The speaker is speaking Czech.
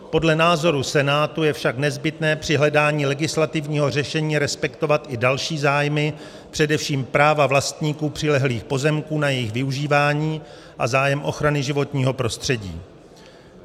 Podle názoru Senátu je však nezbytné při hledání legislativního řešení respektovat i další zájmy, především práva vlastníků přilehlých pozemků na jejich využívání a zájem ochrany životního prostředí.